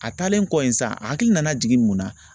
A taalen kɔ in sa a hakili nana jigin mun na